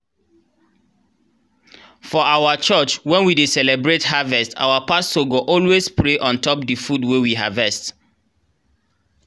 for our church when we dey celebrate harvest our pastor go always pray on top the food wey we harvest.